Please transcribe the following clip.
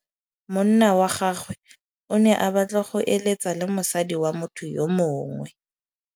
Monna wa gagwe o ne a batla go êlêtsa le mosadi wa motho yo mongwe.